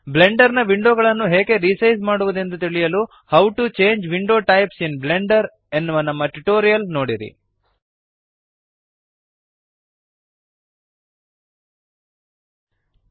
Blender ನ window ಗಳನ್ನು ಹೇಗೆ ರಿಸೈಜ್ ಮಾಡುವದೆಂದು ತಿಳಿಯಲು how to change window types in Blender how to change window types in Blender ಎನ್ನುವ ನಮ್ಮ ಟ್ಯುಟೋರಿಯಲ್ ನೋಡಿರಿ